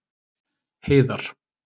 Heiðar